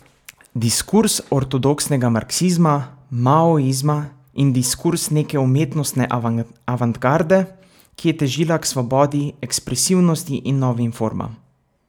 Diskurz ortodoksnega marksizma, maoizma in diskurz neke umetnostne avantgarde, ki je težila k svobodi ekspresivnosti in novim formam.